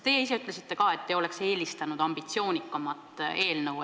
Teie ise ütlesite ka, et te oleksite eelistanud ambitsioonikamat eelnõu.